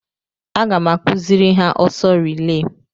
Aga m akụziri ha ọsọ rilee.